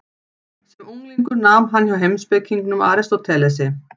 Sem unglingur nam hann hjá heimspekingnum Aristótelesi.